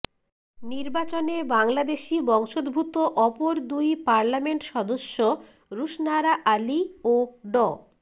নির্বাচনে বাংলাদেশি বংশোদ্ভূত অপর দুই পার্লামেন্ট সদস্য রুশনারা আলী ও ড